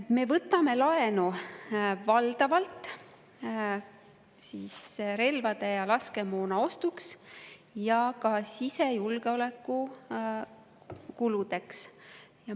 Me võtame laenu valdavalt relvade ja laskemoona ostuks ning ka sisejulgeoleku kuludeks.